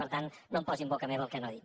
per tant no posi en boca meva el que no he dit